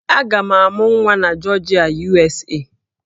Aga m amụ nwa na Jọọjịa, USA